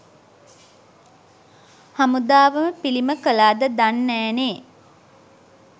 හමුදාවම පිළිම කළාද දන්නෑනේ